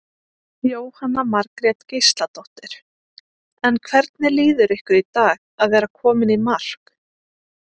Jóhanna Margrét Gísladóttir: En hvernig líður ykkur í dag að vera komin í mark?